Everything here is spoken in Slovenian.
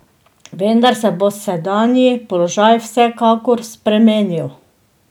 Vendar se bo sedanji položaj vsekakor spremenil.